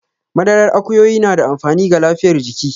Madarar akuyoyi na da amfani ga lafiyar jiki.